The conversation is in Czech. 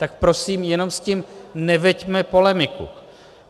Tak prosím, jenom s tím neveďme polemiku!